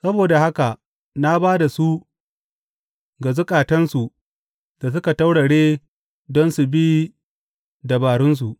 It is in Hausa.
Saboda haka na ba da su ga zukatansu da suka taurare don su bi dabararsu.